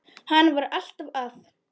Hann var alltaf að.